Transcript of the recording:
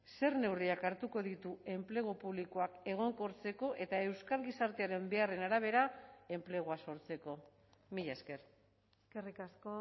zer neurriak hartuko ditu enplegu publikoak egonkortzeko eta euskal gizartearen beharren arabera enplegua sortzeko mila esker eskerrik asko